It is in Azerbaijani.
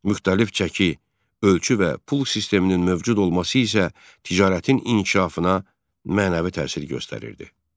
Müxtəlif çəki, ölçü və pul sisteminin mövcud olması isə ticarətin inkişafına mənəvi təsir göstərirdi.